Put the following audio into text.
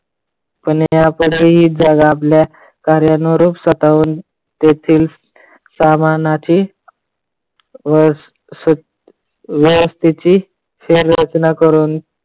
पण या पती जग आपल्या कार्यांवर स्वतःहून तेथील सामानाची व्यवस्थेची शहराचना करून